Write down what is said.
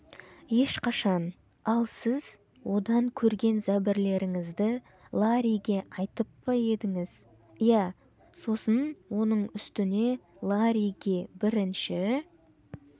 ешқашан ал сіз одан көрген зәбірлеріңізді ларриге айтып па едіңіз иә сосын оның үстіне ларриге бірінші